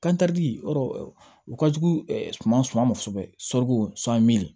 Kantɛri yɔrɔ o ka jugu suman suman ma kosɛbɛ